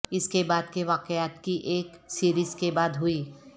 اس کے بعد کے واقعات کی ایک سیریز کے بعد ہوئی